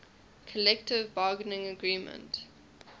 collective bargaining agreement